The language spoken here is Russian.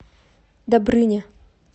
добрыня